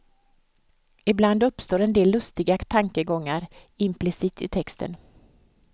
Ibland uppstår en del lustiga tankegångar implicit i texten.